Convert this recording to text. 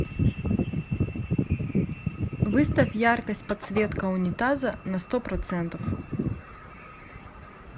выставь яркость подсветка унитаза на сто процентов